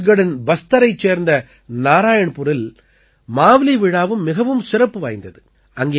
சத்தீஸ்கட்டின் பஸ்தரைச் சேர்ந்த நாராயண்புரில் மாவ்லீ விழாவும் மிகவும் சிறப்பு வாய்ந்தது